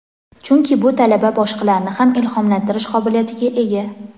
chunki bu talaba boshqalarni ham ilhomlantirish qobiliyatiga ega.